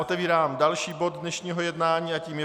Otevírám další bod dnešního jednání a tím je